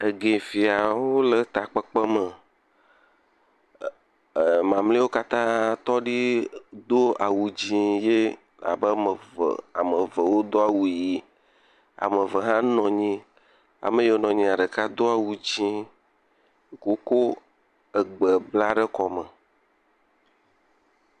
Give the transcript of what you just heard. Egefiawo le ta kpekpe me, ee…mamleawo katã tɔ di do awu dzɛ̃ ye abe ame eve, ame eve wodo awu ʋi, ame eve hã nɔ anyi, ame yiwo nɔ anyia ɖeka do awu dzɛ̃, woko egbe bla ɖe kɔme.